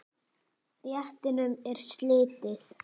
Réttinum er slitið.